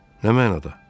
Nə mənada?